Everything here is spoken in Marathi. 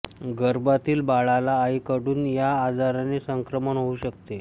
गर्भातील बाळाला आईकडून या आजाराचे संक्रमण होऊ शकते